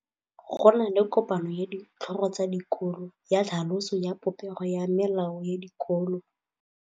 Go na le kopanô ya ditlhogo tsa dikolo ya tlhaloso ya popêgô ya melao ya dikolo.